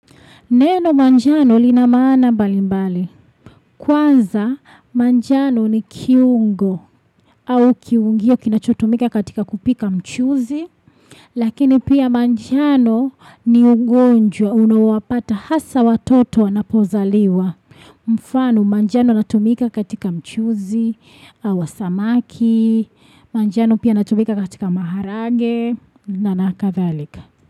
Neno manjano lina maana mbalimbali. Kwanza manjano ni kiungo au kiungio kinachotumika katika kupika mchuzi. Lakini pia manjano ni ungonjwa unawapata hasa watoto wanapozaliwa. Mfano manjano inatumika katika mchuzi wa samaki. Manjano pia inatumika katika maharage na kadhalika.